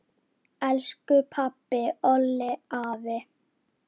Elsku pabbi, Olli, afi.